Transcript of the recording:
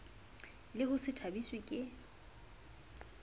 le ho se thabiswe ke